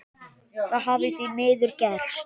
Það hafi því miður gerst.